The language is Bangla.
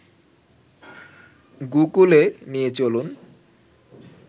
গোকূলে নিয়ে চলুন